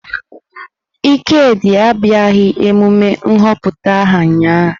Ikedi abịaghị emume nhọpụta aha ụnyahụ.